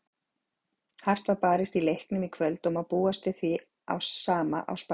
Hart var barist í leiknum í kvöld og má búast við því sama á Spáni.